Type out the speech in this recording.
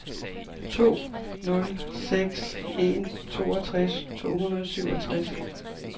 to nul seks en toogtres to hundrede og syvogtres